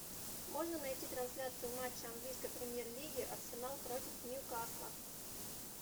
можно найти трансляцию матча английской премьер лиги арсенал против ньюкасла